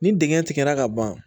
Ni dingɛn tigɛra ka ban